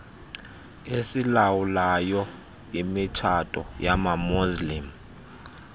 esilawulayo imitshato yamamuslim